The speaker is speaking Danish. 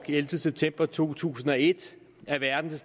ellevte september to tusind og et er verden